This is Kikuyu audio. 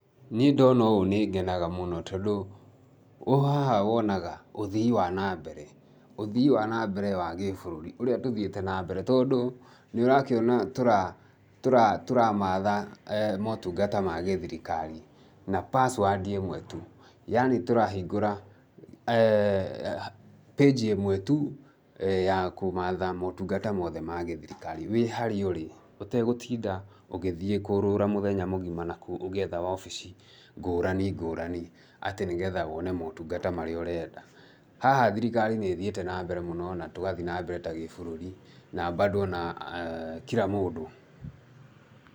Niĩ ndona ũũ nĩ ngenaga mũno tondũ,ũ haha wonaga ũthii wa na mbere, ũthii wa na mbere wa gĩ-bũrũri ũrĩa tũthiĩte na mbere tondũ nĩ ũrakĩona tũramatha motungata ma gĩ-thirikari na password ĩmwe tu. Yaani tũrahingũra page ĩmwe tu ya kũmatha motungata mothe ma gĩthirikari wĩ harĩa ũrĩ, ũtegũtinda ũgĩthiĩ kũũrũra mũthenya mũgima na kũu ũgĩetha wabici ngũrani ngũrani atĩ nĩ getha wone motungata maria ũrenda. Haha thirikari nĩ ĩthiĩte na mbere mũno na tũgathiĩ na mbere ta gĩ-bũrũri, na bado ona kira mũndũ.